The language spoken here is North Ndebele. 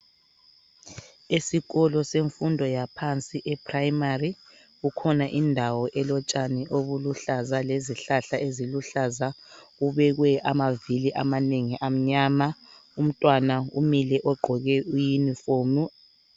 Esikolo semfundo yaphansi eprimary kukhona indawo elotshani obuluhlaza lezihlahla eziluhlaza kubekwe amavili amanengi amnyama umntwana umile ogqoke iyunifomu.